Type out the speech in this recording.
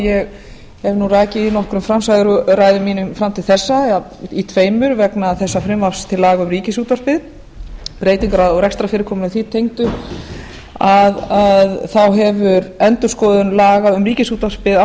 ég hef rakið í nokkrum framsöguræðum mínum fram til þessa í tveimur vegna þessa frumvarps til laga um ríkisútvarpið breytingar á rekstrarfyrirkomulagi því tengdu þá hefur endurskoðun laga um ríkisútvarpið